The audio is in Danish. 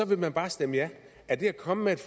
vil man bare stemme ja er det at komme med et